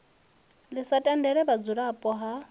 ḽi sa tendele vhudzulapo ha